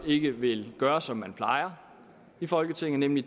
ikke vil gøre som man plejer i folketinget nemlig